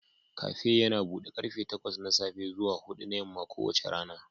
Kafe yana buɗe karfe takwas na safe zuwa huɗu na yamma kowace rana